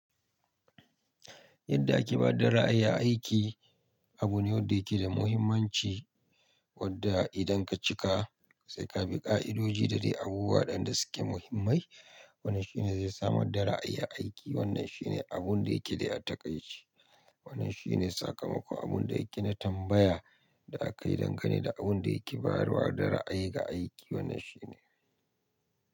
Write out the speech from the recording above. Yadda ake bada ra'ayi a aiki abu ne wadda yake da muhimmanci wadda idan ka cika sai ka bi ƙa'idoji da dai abubuwa waɗanda suke muhimmai. Wannan shine zai samar da ra'ayi a aiki. Wannan shine abun da yake dai takai ce. Wannan shine sakamako abun da yake na tambaya da akayi dangane da abun da yake bayarwa da ra'ayi ga aiki wannan shine.